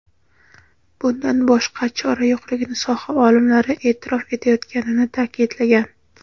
bundan boshqa chora yo‘qligini soha olimlari e’tirof etayotganini ta’kidlagan.